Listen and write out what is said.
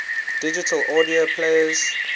digital audio players